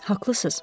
Haqlısınız.